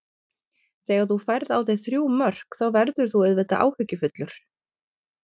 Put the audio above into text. Þegar þú færð á þig þrjú mörk þá verður þú auðvitað áhyggjufullur.